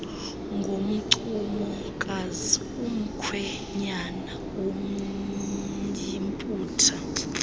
ngoncumokazi umkhwenyana womyiputa